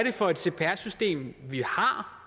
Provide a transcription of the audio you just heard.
for et cpr system vi har